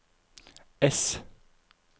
ess